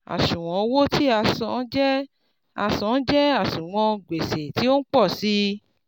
àṣùwọ̀n owó tí a san jẹ́ a san jẹ́ àṣùwọ̀n gbèsè tí o ń pọ̀ sí i.